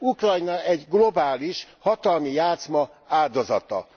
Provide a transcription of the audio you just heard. Ukrajna egy globális hatalmi játszma áldozata.